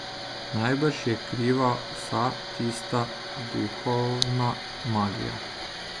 Najbrž je kriva vsa tista duhovna magija.